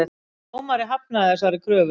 Dómari hafnaði þessari kröfu